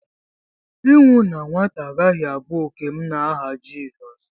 ịnwụ na nwata agaghị abụ òkè m n'aha Jizọs